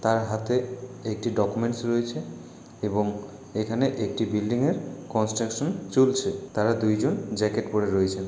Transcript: তার হাতে একটি ডকুমেন্টস রয়েছে এবং এখানে একটি বিল্ডিং -এর কন্সট্রাকশন চলছে তারা দুইজন জ্যাকেট পরে রয়েছে।